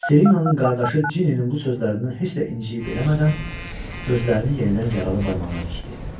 Selinanın qardaşı Cininin bu sözlərindən heç də incəyib eləmədən gözlərini yenidən yaralı barmağına dikdi.